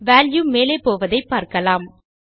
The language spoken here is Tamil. வால்யூ மேலே போவதை பார்க்கலாம்